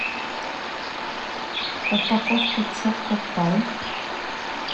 упаковку чокопай